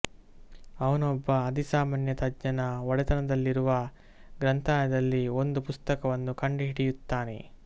ಅವನು ಒಬ್ಬ ಅಧಿಸಾಮಾನ್ಯ ತಜ್ಞನ ಒಡೆತನದಲ್ಲಿರುವ ಗ್ರಂಥಾಲಯದಲ್ಲಿ ಒಂದು ಪುಸ್ತಕವನ್ನು ಕಂಡುಹಿಡಿಯುತ್ತಾನೆ